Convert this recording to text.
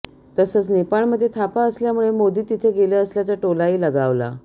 तसंच नेपाळमध्ये थापा असल्यामुळे मोदी तिथं गेले असल्याचा टोलाही लगावला